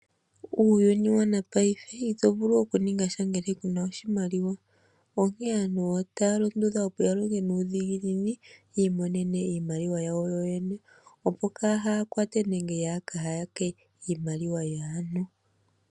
Uuyuni wanapaife ito vulu okuninga tya ngele kuna oshimaliwa onkee aantu otaya londodhwa opo yalonge nuudhiginini yiimonene iimaliwa yawo yoyene, opo kayakwate nenge yaakayake iimaliwa yaantu.